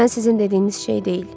Mən sizin dediyiniz şey deyil.